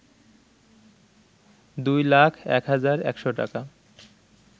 ২ লাখ ১ হাজার ১০০ টাকা